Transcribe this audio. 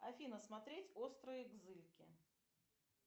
афина смотреть острые кзыльки